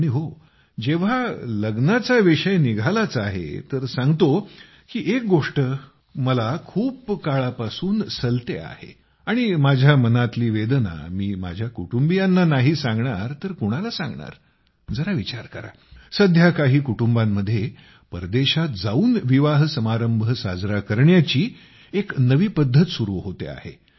आणि हो जेव्हा लग्नाचा विषय निघालाच आहे तर सांगतो की एक गोष्ट मला खूप काळापासून सलते आहे आणि माझ्या मनातील वेदना मी माझ्या कुटुंबियांना नाही सांगणार तर कोणाला सांगणार जरा विचार करा आजकाल काही कुटुंबांमध्ये परदेशात जाऊन विवाहसमारंभ साजरा करण्याची एक नवी पद्धत सुरु होते आहे